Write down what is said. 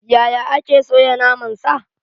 Yaya ake soya naman sa?